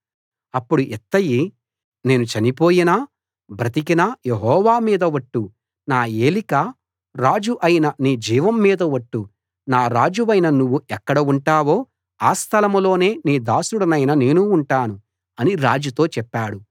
అప్పుడు ఇత్తయి నేను చనిపోయినా బ్రతికినా యెహోవా మీద ఒట్టు నా ఏలిక రాజు అయిన నీ జీవం మీద ఒట్టు నా రాజువైన నువ్వు ఎక్కడ ఉంటావో ఆ స్థలం లోనే నీ దాసుడనైన నేనూ ఉంటాను అని రాజుతో చెప్పాడు